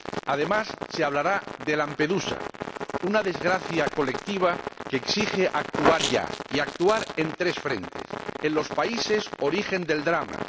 Además, se hablará de Lampedusa, una desgracia colectiva que exige actuar ya y actuar en tres frentes en primer lugar, en los países origen del drama